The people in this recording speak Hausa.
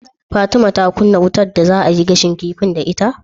Fatima ta kunnan wutar da za'ayi gashin kifin da ita?